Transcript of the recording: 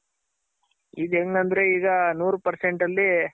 ಇದ್ ಹೆಂಗಂದ್ರೆ ಈಗ ನೂರ್ Percent ಅಲ್ಲಿ